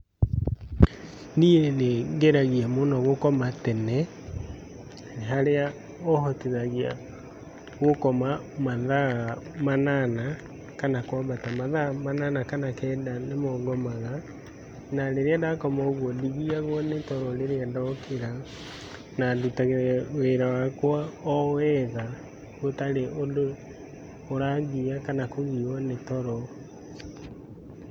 Niĩ nĩ ngeragia mũno gũkoma tene, haria ũhotithagia gũkoma mathaa manana kana kwambata mathaa manana kana kenda nĩmo ngomaga, na rĩrĩa ndakoma ũguo ndigiyagwo nĩ toro rĩrĩa ndokĩra na ndutaga wĩra wakwa o wega gũtarĩ ũndũ ũrangiya kana kũgiywo nĩ toro.